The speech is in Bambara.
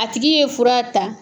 A tigi ye fura ta